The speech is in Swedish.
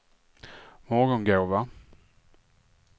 Morgongåva